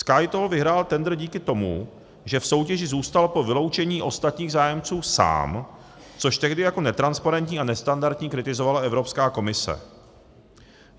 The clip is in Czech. SkyToll vyhrál tendr díky tomu, že v soutěži zůstal po vyloučení ostatních zájemců sám, což tehdy jako netransparentní a nestandardní kritizovala Evropská komise.